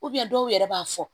dɔw yɛrɛ b'a fɔ